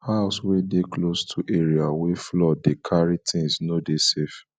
house wey de close to area wey flood dey carry things no dey safe